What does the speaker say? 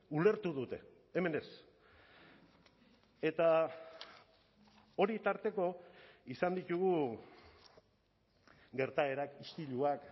ulertu dute hemen ez eta hori tarteko izan ditugu gertaerak istiluak